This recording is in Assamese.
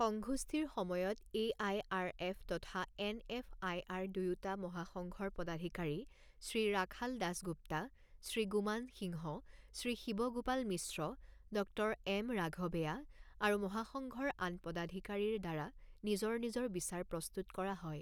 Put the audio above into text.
সংঘোষ্ঠীৰ সময়ত এ আই আৰ এফ তথা এন এফ আই আৰ দুয়োটা মহাসংঘৰ পদাধিকাৰী শ্ৰী ৰাখাল দাসগুপ্তা, শ্ৰী গুমান সিংহ, শ্ৰী শিৱ গোপাল মিশ্ৰ, ড৹ এম ৰাঘৱেয়া আৰু মহাসংঘৰ আন পদাধিকাৰীৰ দ্বাৰা নিজৰ নিজৰ বিচাৰ প্ৰস্তুত কৰা হয়।